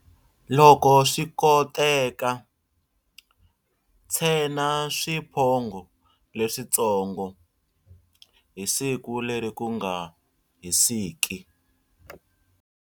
Loko swi koteka, tshena swiphongho leswitsongo hi siku leri ku nga hisiski.